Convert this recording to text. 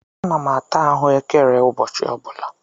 Ana m ata ahụekere ụbọchị ọ bụla.